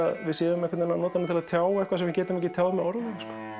við séum að tjá eitthvað sem við getum ekki tjáð með orðum